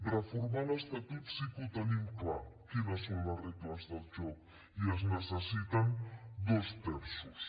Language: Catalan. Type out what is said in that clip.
reformar l’estatut sí que ho tenim clar quines són les regles del joc i es necessiten dos terços